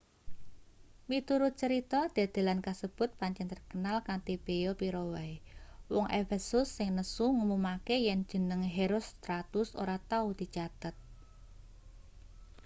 miturut crita dedelan kasebut pancen terkenal kanthi beya pira wae wong efesus sing nesu ngumumake yen jeneng herostratus ora tau dicathet